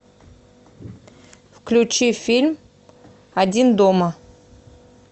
включи фильм один дома